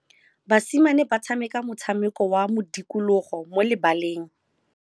Basimane ba tshameka motshameko wa modikologô mo lebaleng.